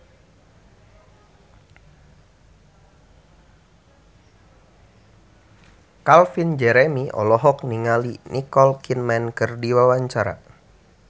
Calvin Jeremy olohok ningali Nicole Kidman keur diwawancara